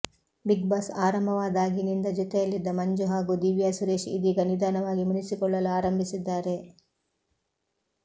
big boss ಆರಂಭವಾದಾಗಿನಿಂದ ಜೊತೆಯಲ್ಲಿದ್ದ ಮಂಜು ಹಾಗೂ ದಿವ್ಯಾ ಸುರೇಶ್ ಇದೀಗ ನಿಧಾನವಾಗಿ ಮುನಿಸಿಕೊಳ್ಳಲು ಆರಂಭಿಸಿದ್ದಾರೆ